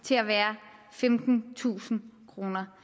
til at være femtentusind kroner